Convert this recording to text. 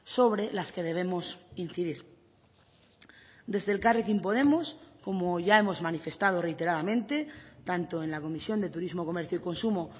sobre las que debemos incidir desde elkarrekin podemos como ya hemos manifestado reiteradamente tanto en la comisión de turismo comercio y consumo